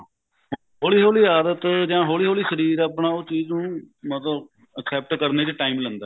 ਹੋਲੀ ਹੋਲੀ ਆਦਤ ਜਾ ਹੋਲੀ ਹੋਲੀ ਸ਼ਰੀਰ ਆਪਣਾ ਉਹ ਚੀਜ ਨੂੰ ਮਤਲਬ except ਕਰਨੇ ਚ time ਲਿੰਦਾ